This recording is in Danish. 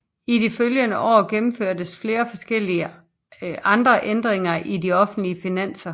I de følgende år gennemførtes flere forskellige andre ændringer i de offentlige finanser